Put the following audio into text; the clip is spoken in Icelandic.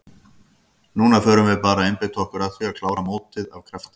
Núna förum við bara að einbeita okkur að því að klára mótið af krafti.